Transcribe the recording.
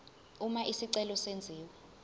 uma isicelo senziwa